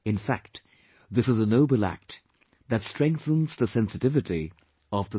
In fact, this is a noble act that strengthens the sensitivity of the society